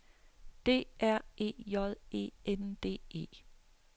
D R E J E N D E